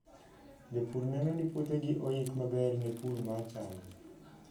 Jopur neno ni puothegi oik maber ne pur mar cham.